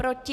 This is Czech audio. Proti?